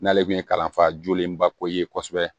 N'ale kun ye kalanfa jolenbako ye kosɛbɛ